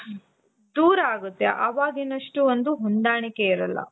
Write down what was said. ದೂರ ಆಗುತ್ತೆ ಅವಾಗಿನಷ್ಟು ಒಂದು ಹೊಂದಾಣಿಕೆ ಇರಲ್ಲ.